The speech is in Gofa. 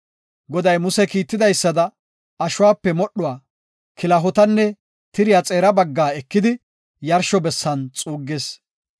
Goday Muse kiitidaysada, ashuwape modhuwa, kilahotanne tiriya xeera baggaa ekidi yarsho bessan xuuggis.